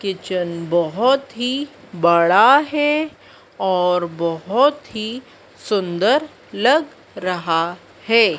Kitchen बहोत ही बड़ा है और बहोत ही सुंदर लग रहा है।